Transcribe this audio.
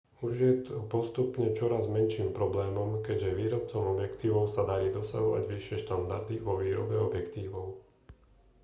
už je to postupne čoraz menším problémom keďže výrobcom objektívov sa darí dosahovať vyššie štandardy vo výrobe objektívov